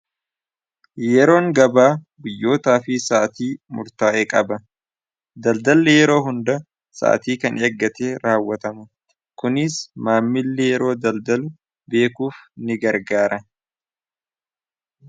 yeroon gabaa guyyootaa fi sa'atii murtaa'ee qaba daldalli yeroo hunda sa'atii kan eeggate raawwatama kuniis maammilli yeroo daldalu beekuuf ni gargaara